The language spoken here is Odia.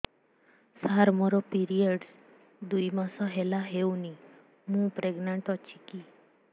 ସାର ମୋର ପିରୀଅଡ଼ସ ଦୁଇ ମାସ ହେଲା ହେଇନି ମୁ ପ୍ରେଗନାଂଟ ଅଛି କି